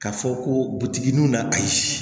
K'a fɔ ko butigi nun na ayi